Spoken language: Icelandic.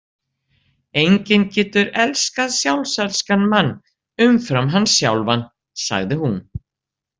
Enginn getur elskað sjálfselskan mann umfram hann sjálfan, sagði hún.